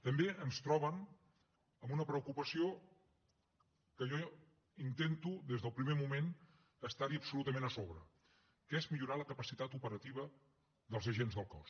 també ens troben en una preocupació que jo intento des del primer moment estar hi absolutament a sobre que és millorar la capacitat operativa dels agents del cos